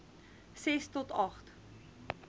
ses to agt